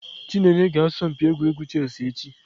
Chineye ga-asọ mpi egwuregwu chess echi.